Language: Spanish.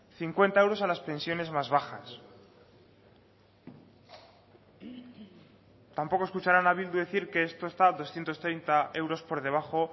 cincuenta euros a las pensiones más bajas tampoco escucharán a bildu decir que esto está doscientos treinta euros por debajo